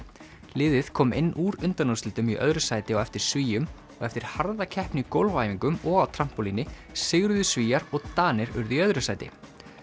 liðið kom inn úr undanúrslitum í öðru sæti á eftir Svíum og eftir harða keppni í gólfæfingum og á trampólíni sigruðu Svíar og Danir urðu í öðru sæti